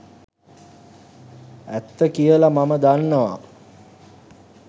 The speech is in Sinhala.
ඇත්ත කියලා මම දන්නවා.